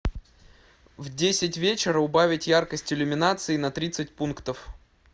в десять вечера убавить яркость иллюминации на тридцать пунктов